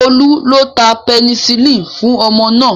Olú ló ta penicillin fún ọmọ náà